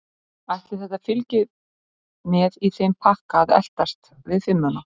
Ætli þetta fylgi með í þeim pakka að eltast við fimmuna?